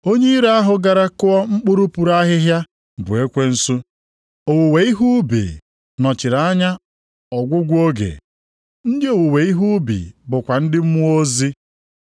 Onye iro ahụ gara kụọ mkpụrụ puru ahịhịa bụ ekwensu. Owuwe ihe ubi nọchiri anya ọgwụgwụ oge. Ndị owuwe ihe ubi bụkwa ndị mmụọ ozi.